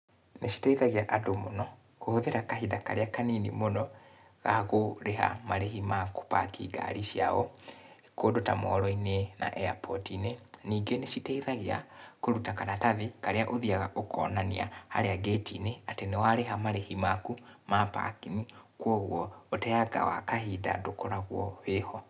Nĩ citeithagia andũ mũno, kũhũthĩra kahinda karĩa kanini mũno, gakũrĩha marĩhĩ ma gũ park ngari ciao, kũndũ ta moro-inĩ na airport inĩ. Ningĩ níĩ citeithagia, kũrũta karatathi, karĩa ũthiaga ũkonania harĩa ngĩti-inĩ atĩ níĩ wa rĩha marĩĩhĩ maku ma parking, koguo ũteanga wa kahinda ndũkoragwo wĩho.